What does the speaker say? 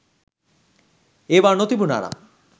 ඒවා නොතිබුනා නම්